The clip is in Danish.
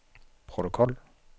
protokol